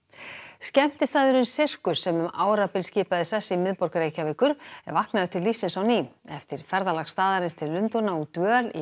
skemmtistaðurinn Sirkus sem um árabil skipaði sess í miðborg Reykjavíkur er vaknaður til lífs á ný eftir ferðalag staðarins til Lundúna og dvöl í